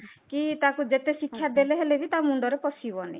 କି ତାକୁ ଯେତେ ଶିକ୍ଷା ଦେଲେ ହେଲେ ବି ତା ମୁଣ୍ଡରେ ପଶିବନି